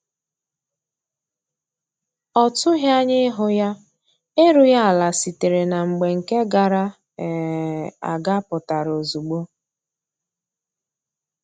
Ọ tughi anya ihu ya, erughi ala sitere na mgba nke gara um aga pụtara ozugbo